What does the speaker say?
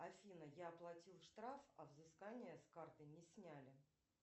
афина я оплатил штраф а взыскание с карты не сняли